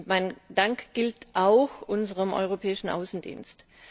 Mein Dank gilt auch unserem Europäischen Auswärtigen Dienst.